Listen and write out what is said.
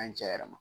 An ye cɛ yɛrɛ ma